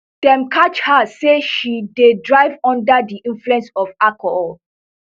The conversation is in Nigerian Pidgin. dem catch her say she dey drive under di influence of alcohol